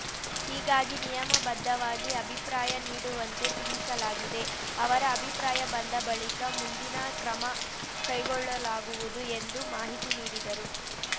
ಹೀಗಾಗಿ ನಿಯಮಬದ್ಧವಾಗಿ ಅಭಿಪ್ರಾಯ ನೀಡುವಂತೆ ತಿಳಿಸಲಾಗಿದೆ ಅವರ ಅಭಿಪ್ರಾಯ ಬಂದ ಬಳಿಕ ಮುಂದಿನ ಕ್ರಮ ಕೈಗೊಳ್ಳಲಾಗುವುದು ಎಂದು ಮಾಹಿತಿ ನೀಡಿದರು